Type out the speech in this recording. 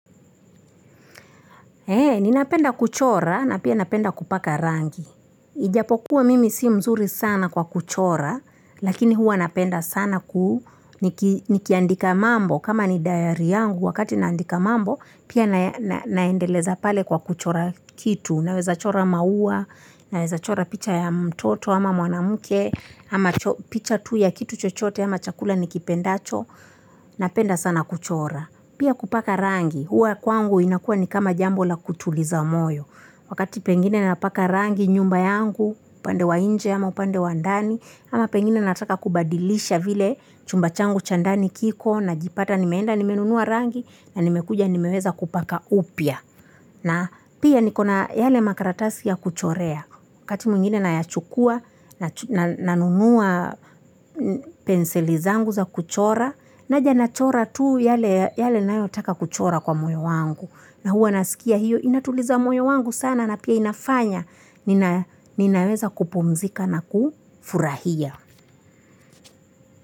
Ni napenda kuchora na pia napenda kupaka rangi. Ijapokuwa mimi si mzuri sana kwa kuchora lakini huwa napenda sana kuu. Nikiandika mambo kama ni dayari yangu wakati naandika mambo pia naendeleza pale kwa kuchora kitu. Naweza chora maua, naweza chora picha ya mtoto ama mwanamke ama picha tu ya kitu chochote ama chakula nikipendacho. Napenda sana kuchora. Pia kupaka rangi, huwa kwangu inakuwa ni kama jambo la kutuliza moyo. Wakati pengine napaka rangi nyumba yangu, upande wa nje ama upande wa ndani. Ama pengine nataka kubadilisha vile chumba changu chandani kiko na jipata nimeenda nimenunua rangi na nimekuja nimeweza kupaka upya. Na pia nikona yale makaratasi ya kuchorea. Wakati mwingine nayachukua, nanunua penseli zangu za kuchora, naja nachora tuu yale nayotaka kuchora kwa moyo wangu. Na huwa nasikia hiyo, inatuliza moyo wangu sana na pia inafanya, ninaweza kupumzika na kufurahia.